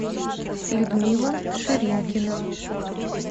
людмила ширинкина